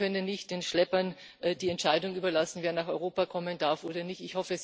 Wir können nicht den Schleppern die Entscheidung überlassen, wer nach Europa kommen darf oder nicht.